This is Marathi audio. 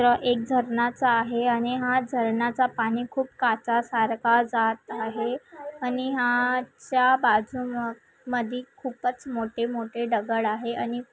एक झरणाचा आहे आणि हा झरणाचा पाणी खूप काचा सारखा जात आहे आणि हा च्या बाजू मधी खूपच मोटे मोटे दगड आहे आणि--